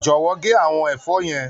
Jọ̀wọ́ gé àwọn ẹ̀fọ́ yẹn.